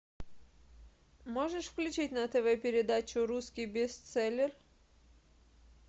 можешь включить на тв передачу русский бестселлер